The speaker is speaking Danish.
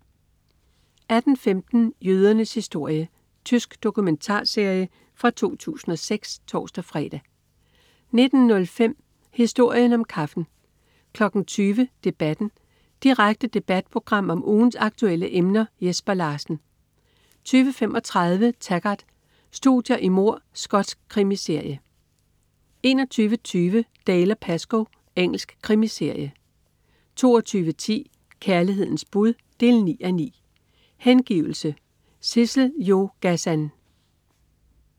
18.15 Jødernes historie. Tysk dokumentarserie fra 2006 (tors-fre) 19.05 Historien om kaffen 20.00 Debatten. Direkte debatprogram om ugens aktuelle emner. Jesper Larsen 20.35 Taggart: Studier i mord. Skotsk krimiserie 21.20 Dalziel & Pascoe. Engelsk krimiserie 22.10 Kærlighedens bud 9:9. Hengivelse. Sissel-Jo Gazan